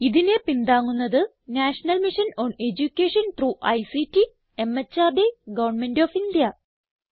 ഇതിനെ പിന്താങ്ങുന്നത് National Mission on Education through ICT MHRD Government of India